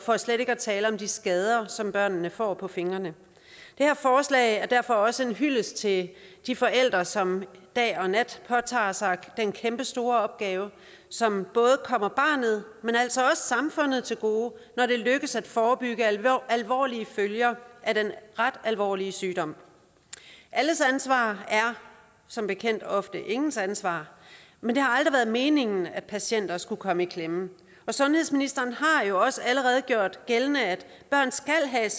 for slet ikke at tale om de skader som børnene får på fingrene det her forslag er derfor også en hyldest til de forældre som dag og nat påtager sig den kæmpestore opgave som både kommer barnet men altså også samfundet til gode når det lykkes at forebygge alvorlige følger af den ret alvorlige sygdom alles ansvar er som bekendt ofte ingens ansvar men det har aldrig været meningen at patienter skulle komme i klemme og sundhedsministeren har jo også allerede gjort gældende at de børn skal have